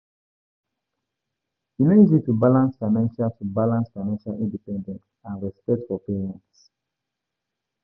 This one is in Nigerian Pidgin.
E no easy to balance financial to balance financial independence and respect for parents.